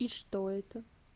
и что это